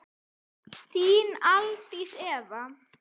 Þín Aldís Eva.